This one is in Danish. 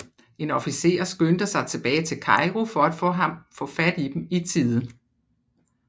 En officer skyndte sig tilbage til Cairo for at få fat i dem i tide